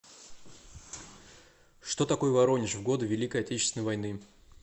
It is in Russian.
что такое воронеж в годы великой отечественной войны